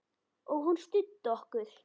Og hún studdi okkur.